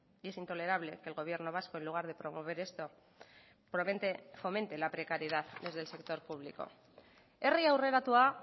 y es intolerable que el gobierno vasco en lugar de promover esto fomente la precariedad desde el sector público herri aurreratua